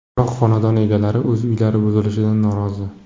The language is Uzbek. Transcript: Biroq, xonadon egalari o‘z uylari buzilishidan norozi.